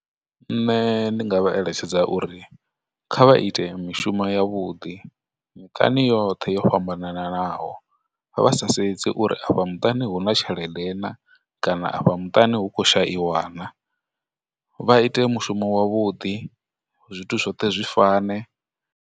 Nṋe ndi nga vha eletshedza uri kha vha ite mishumo ya vhuḓi yoṱhe yo fhambananaho vha sa sedzi uri afha muṱani hu na tshelede na, kana afha muṱani hu khou shaiwa na, vha ite mushumo wavhuḓi zwithu zwoṱhe zwi fane.